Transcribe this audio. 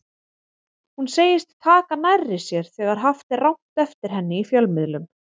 Hún segist taka nærri sér þegar haft er rangt eftir henni í fjölmiðlum.